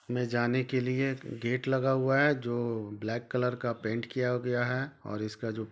में जाने के लिए गेट लगा हुआ है जो ब्लैक कलर का पेंट किया गया है और इसका जो--